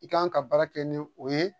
I kan ka baara kɛ ni o ye